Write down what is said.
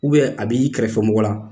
U bɛ a b'i kɛrɛfɛmɔgɔ la